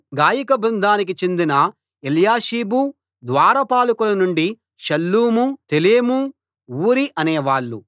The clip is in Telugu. గాయక బృందానికి చెందిన ఎల్యాషీబు ద్వారపాలకుల నుండి షల్లూము తెలెము ఊరి అనేవాళ్ళు